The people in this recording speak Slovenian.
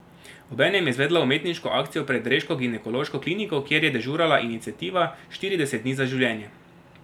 Obenem je izvedla umetniško akcijo pred reško ginekološko kliniko, kjer je dežurala iniciativa Štirideset dni za življenje.